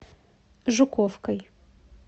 жуковкой